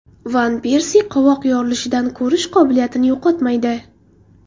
Van Persi qovoq yorilishidan ko‘rish qobiliyatini yo‘qotmaydi.